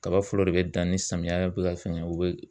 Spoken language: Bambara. Kaba fɔlɔ de be dan ni samiya be ka fɛngɛ u be